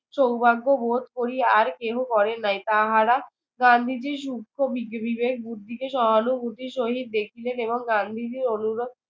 সৌভাগ্য বোধ করি। আর কেহ করে নাই। তাহারা গান্ধীজির সূক্ষ্ম বি বিবেক বুদ্ধিকে সহানুভূতির সহিত দেখিলেন এবং গান্ধীজি অনুরোধ